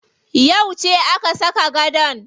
Yauce aka saka gadon?